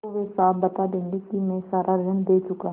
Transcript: तो वे साफ बता देंगे कि मैं सारा ऋण दे चुका